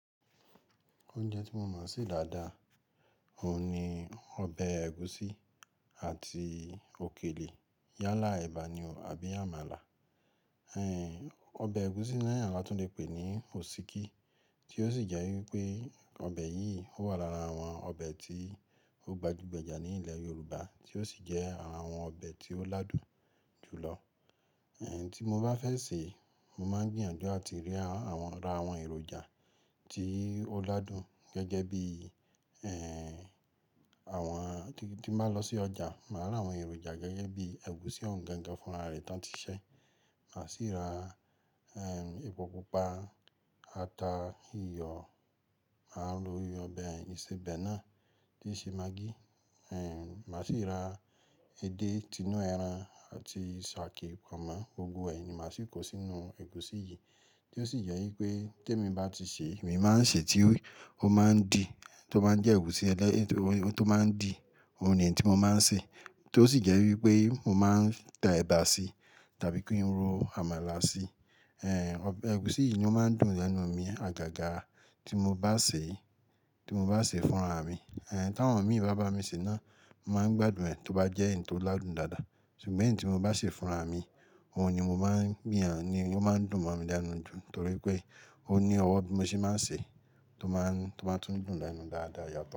Oúnjẹ tí mo mọ̀ sí dáadáa, òun ni ọbẹ̀ ẹ̀gúsí àti òkèlè, yálà, ẹ̀bà ni òun àbí àmàlà. Ẹ̀hẹ̀, ọbẹ̀ ẹ̀gúsí ni àwọn alátúndé ń pè ní òsíkí, tí ó sì jẹ́ wípé ọbẹ̀ yìí wà lára àwọn ọbẹ̀ tí ó gbajúgbajà ní ilẹ̀ Yorùbá, tí ó sì jẹ́ àwọn ọbẹ̀ tí ó ládùn jù lọ. Ẹ̀hẹ̀, tí mo bá fẹ́ sè, mo máa gbìyànjú àti rí àwọn, ra àwọn èròjà tí ó ládùn gẹ́gẹ́ bí, ẹ́hẹ̀, àwọn-- tí mo bá lọ sí ọjà, màá ra àwọn èròjà gẹ́gẹ́ bí ẹ̀gúsí òun gangan fún ara rẹ̀ tán ti ṣẹ. Màá sì ra, ẹ́hẹ̀, epo pupa, ata, iyọ̀, màá lo oyin ọbẹ̀ ẹ́hẹ̀ ìṣẹ bẹ náà tí ó ṣe magí. Ehn, mas si ra ede, tinu eran ati saki, ponmo, gbogbo e ni ma si ko sinu egusi yii. Tí ó sì jẹ́ wípé tí èmi bá ti sè, èmi máa sè tí ó máa ń di, tó máa ń jẹ́ ẹ̀gúsí ẹlẹ́, tó máa ń di, òun ni èyí tí mo máa ń sè, tí ó sì jẹ́ wípé mo máa ń ta ẹ̀bà sí tàbí kí n ro àmàlà sí. Ẹ̀hẹ̀, ọb-- ẹ̀gúsí yìí ni ó máa ń dùn lẹ́nu mi. Àgàgà tí mo bá sè, tí mo bá sè fúnra mi. Ẹ̀hẹ̀, tí àwọn mi, ìbáámi ṣe náà, mo máa ń gbádùn ẹ, tó bá jẹ́ ǹ tó ládùn dáadáa. Ṣùgbọ́n èyí tí mo bá sè fúnra mi, òun ni mo máa ń gbìyànjú, òun ni ó máa ń dùn mọ́ mi lẹ́nu jù nítorí pé ó ní ọwọ́ bí mo ṣe máa ń sè tó máa ń, tó máa ń tún dùn lẹ́nu dáadáa yàrá.